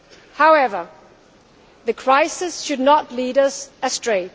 Union. However, the crisis should not lead